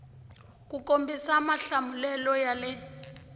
ku kombisa mahlamulelo ya le